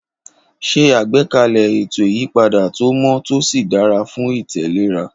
Ṣe àgbékalẹ̀ ètò ìyípadà tó mọ́ tó sì dára fún ìtẹ̀léra.